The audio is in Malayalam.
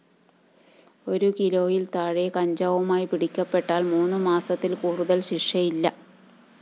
ഒരു കിലോയില്‍ താഴെ കഞ്ചാവുമായി പിടിക്കപ്പെട്ടാല്‍ മൂന്നുമാസത്തില്‍ കൂടുതല്‍ ശിക്ഷയില്ല